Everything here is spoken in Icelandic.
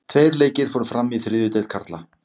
Tveir leikir fóru fram í þriðju deild karla.